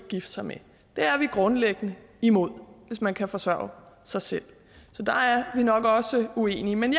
gifte sig med det er vi grundlæggende imod hvis man kan forsørge sig selv så der er vi nok også uenige men